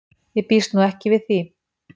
Ég býst nú ekki við því.